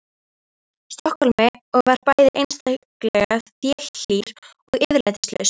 Stokkhólmi og var bæði einstaklega þelhlýr og yfirlætislaus.